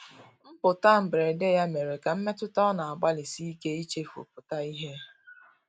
Mputa mgberede ya mere ka mmetụta ọ na agbali sike ichefu pụta ihe